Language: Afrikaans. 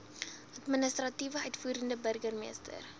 administrasie uitvoerende burgermeester